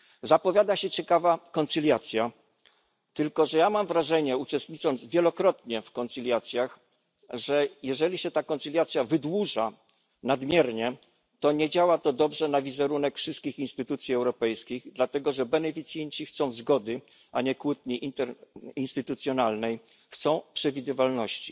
Zapowiada się ciekawa koncyliacja, tylko że ja mam wrażenie ponieważ wielokrotnie uczestniczyłem w koncyliacjach że jeżeli się ta koncyliacja wydłuża nadmiernie, to nie działa to dobrze na wizerunek wszystkich instytucji europejskich, dlatego że beneficjenci chcą zgody, a nie kłótni międzyinstytucjonalnej, chcą przewidywalności.